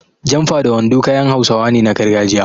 Jamfa da wando kayan Hausawa ne na gargajiya.